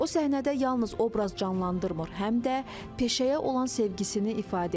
O səhnədə yalnız obraz canlandırmır, həm də peşəyə olan sevgisini ifadə edir.